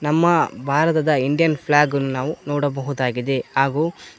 ನಮ್ಮ ಭಾರತದ Indian flag ನಾವು ನೋಡಬಹುದಾಗಿದೆ ಹಾಗು--